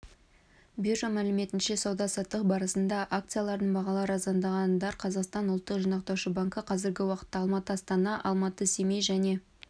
биржа мәліметінше сауда-саттық барысында акцияларының бағалары арзандағандар қазақстан ұлттық жинақтаушы банкі қазіргі уақытта алматы-астана алматы-семей және